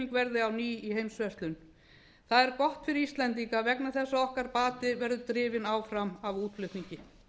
verði á ný í heimsverslun það er gott fyrir íslendinga vegna þess að bati okkar verður drifinn áfram af útflutningi